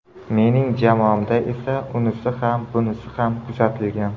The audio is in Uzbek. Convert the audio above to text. Mening jamoamda esa unisi ham bunisi ham kuzatilgan.